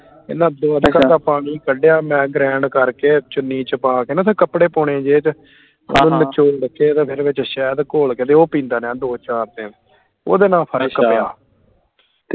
ਇਹਨਾਂ ਦੋ ਦਾ ਪਾਣੀ ਕਢਿਆ ਮੈਂ grind ਕਰਕੇ ਚੁਨੀ ਚ ਪਾ ਕੇ ਤੇ ਕੱਪੜੇ ਪੋਣੇ ਦੇ ਚ ਓਹਨੂੰ ਨਚੋੜ ਕੇ ਤੇ ਫਿਰ ਸ਼ੈਹਦ ਘੋਲ ਕੇ ਤੇ ਉਹ ਪੀਂਦਾ ਰਿਹਾ ਦੋ ਚਾਰ ਦਿਨ ਓਦੇ ਨਾਲ ਫਰਕ ਪਿਆ